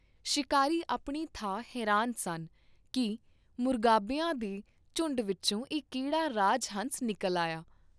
ਸ਼ਿਕਾਰੀ ਆਪਣੀ ਥਾਂ ਹੈਰਾਨ ਸਨ ਕੀ ਮੁਰਗਾਬੀਆਂ ਦੇ ਝੁੰਡ ਵਿਚੋਂ ਇਹ ਕਿਹੜਾ ਰਾਜ ਹੰਸ ਨਿਕਲ ਆਇਆ।